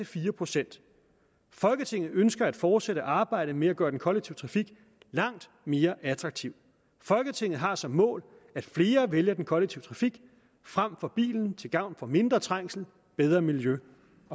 fire procent folketinget ønsker at fortsætte arbejdet med at gøre den kollektive trafik langt mere attraktiv folketinget har som mål at flere vælger den kollektive trafik frem for bilen til gavn for mindre trængsel bedre miljø